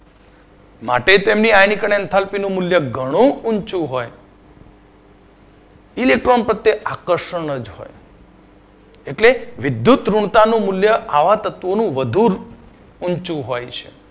માટે તેની નું મુલ્ય ઘણું ઉંચુ હોય છે. electron પ્રત્યે આકર્ષણ જ હોય એટલે વિદ્યુતઋણતાનું મુલ્ય આવા તત્વોનું વધુ ઉંચુ હોય છે.